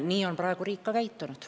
Nii on praegu riik ka käitunud.